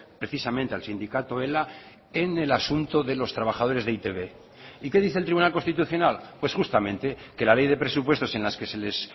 precisamente al sindicato ela en el asunto de los trabajadores de e i te be y qué dice el tribunal constitucional pues justamente que la ley de presupuestos en las que se les